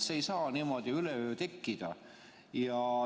See ei saa niimoodi üleöö tekkida.